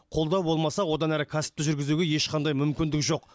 қолдау болмаса одан әрі кәсіпті жүргізуге ешқандай мүмкіндік жоқ